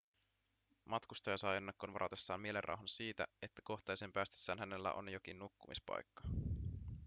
matkustaja saa ennakkoon varatessaan mielenrauhan siitä että kohteeseen päästessään hänellä on jokin nukkumispaikka